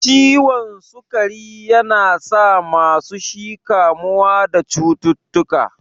Ciwon sukari yana sa masu shi kamuwa da cututtuka.